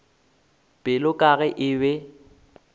pelo ka ge e be